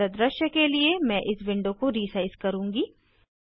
बेहतर दृश्य के लिए मैं इस विंडो को रीसाइज करुँगी